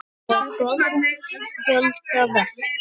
Það er góðra gjalda vert.